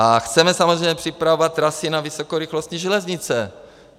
A chceme samozřejmě připravovat trasy na vysokorychlostní železnice.